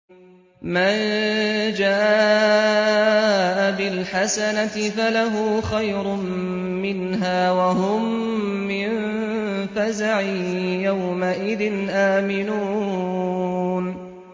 مَن جَاءَ بِالْحَسَنَةِ فَلَهُ خَيْرٌ مِّنْهَا وَهُم مِّن فَزَعٍ يَوْمَئِذٍ آمِنُونَ